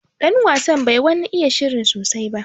Ɗan wasan bai wani iya shirin sosai.